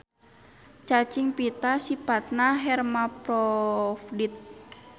Cacing pita sipatna hermaprodit.